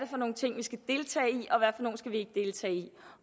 for nogle ting vi skal deltage i